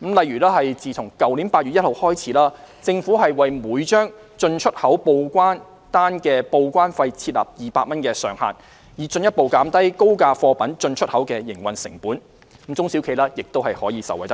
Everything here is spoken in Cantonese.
例如自去年8月1日起，政府為每張進出口報關單的報關費設立200元上限，以進一步減低高價貨品進出口的營運成本，中小企也可受惠；